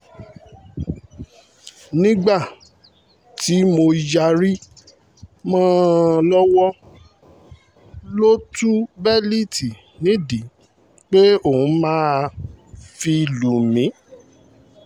nígbà tí mo yarí mọ́ ọn lọ́wọ́ ló tu bélíìtì nídìí pé òun máa fi lù mí